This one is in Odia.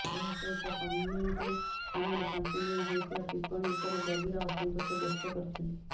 ଏହା ସହିତ କମେଣ୍ଟ୍ରି ସମୟରେ ତାଙ୍କୁ ନେଇ ହୋଇଥିବା ଟିପ୍ପଣୀ ଉପରେ ଗଭୀର ଅସନ୍ତୋଷ ବ୍ୟକ୍ତ କରିଛନ୍ତି